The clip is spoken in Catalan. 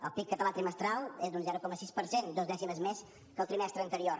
el pib català trimestral és d’un zero coma sis per cent dos dècimes més que el trimestre anterior